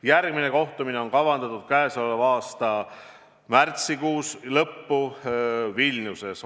Järgmine kohtumine on kavandatud toimuma selle aasta märtsikuu lõpul Vilniuses.